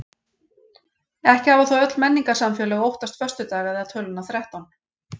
Ekki hafa þó öll menningarsamfélög óttast föstudag eða töluna þrettán.